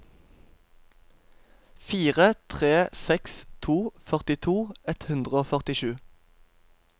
fire tre seks to førtito ett hundre og førtisju